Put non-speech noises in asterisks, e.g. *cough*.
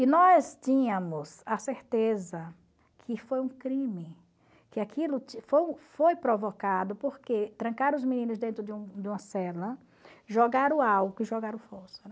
E nós tínhamos a certeza que foi um crime, que aquilo *unintelligible* foi provocado porque trancaram os meninos dentro de um de uma cela, jogaram álcool e jogaram fósforo.